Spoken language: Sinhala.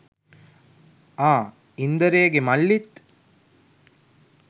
ආ ඉන්දරේගෙ මල්ලිත්